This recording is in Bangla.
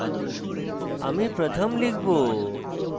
আমি pratham লিখব